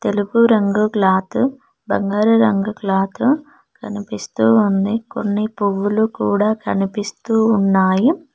తెలుపు రంగు క్లాత్ బంగారు రంగు క్లాత్ కనిపిస్తూ ఉంది కొన్ని పువ్వులు కూడా కనిపిస్తూ ఉన్నాయి.